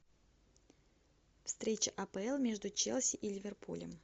встреча апл между челси и ливерпулем